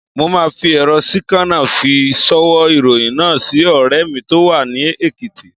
Mo máa fi èrọ síkánà fi ṣ'ọwọ́ ìròyìn náà sí ọ̀rẹ́ mi tó wà ní Èkìtì.